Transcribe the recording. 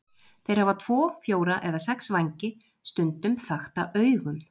Þeir hafa tvo, fjóra eða sex vængi, stundum þakta augum.